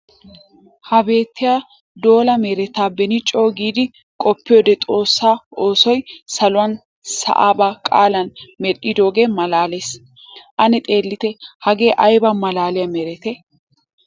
Ha beetiya dolla meretta be'in coo giidi qoppiyoode xoosa oosoy saluwanne sa'a ba qaalan medhdhidooge maalaales. Ane xeellitte hagee aybba maalaaliya meretti!